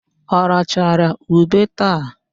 Ọ rachara ube taa?